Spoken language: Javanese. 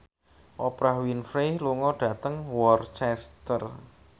Oprah Winfrey lunga dhateng Worcester